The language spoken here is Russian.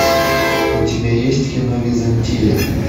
у тебя есть кино византия